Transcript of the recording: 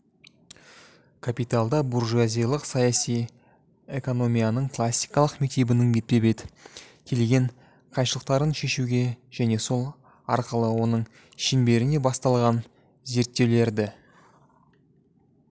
капиталда буржуазиялық саяси экономияның классикалық мектебінің бетпе-бет келген қайшылықтарын шешуге және сол арқылы оның шеңберінде басталған зерттеулерді